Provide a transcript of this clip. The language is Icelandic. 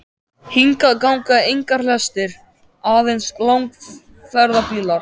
Hingað ganga engar lestir, aðeins langferðabílar.